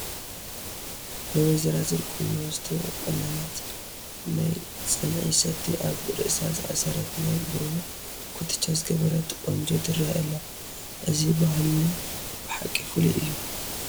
ናይ ወይዘራዝር ቁኖ ዝተቖነነት፣ ናይ ፅንዒ ሰቲ ኣብ ርእሳ ዝኣሰረት፣ ናይ ብሩር ኩትቻ ዝገበረት ቆንጆ ትርአ ኣላ፡፡ እዚ ባህልና ብሓቂ ፍሉይ እዩ፡፡